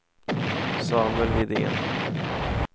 Samuel Widén